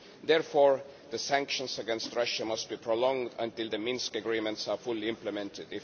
Therefore the sanctions against Russia must be prolonged until the Minsk Agreements are fully implemented.